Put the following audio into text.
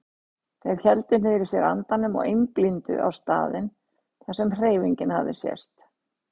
Þeir héldu niðri í sér andanum og einblíndu á staðinn þar sem hreyfingin hafði sést.